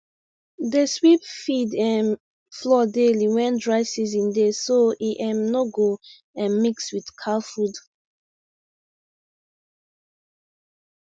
dey sweep feed um floor daily wen dry season dey so e um no go um mix with cow food